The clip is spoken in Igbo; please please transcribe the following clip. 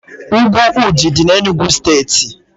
Úgwù Ụdị dị n'Enugu steeti